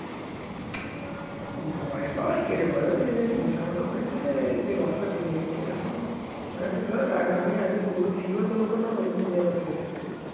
ভয়পাওয়ার কি আছে ভয় টয় কিছু নেই বোচা আমাকে বলছে যে রসা জেনে গেছে এরকম আহ ধরেরাখ আমি আগে পুরো sure যতক্ষণ না হবো ততক্ষন বেচার কথা জিজ্ঞেস করবো